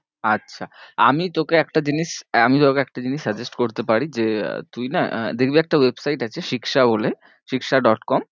আচ্ছা আমি তোকে একটা জিনিস আমি তোকে একটা জিনিস suggest করতে পারি যে আহ তুই না আহ দেখবি একটা website আছে Shiksha বলে Shiksha dot com